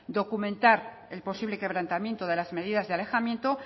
documentar el posible quebrantamiento de las medidas de alejamiento